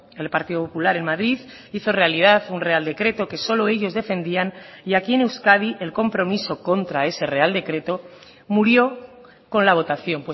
el partido popular en madrid hizo realidad un real decreto que solo ellos defendían y aquí en euskadi el compromiso contra ese real decreto murió con la votación